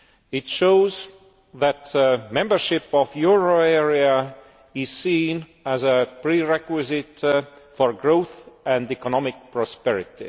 It shows that membership of the euro area is seen as a prerequisite for growth and economic prosperity.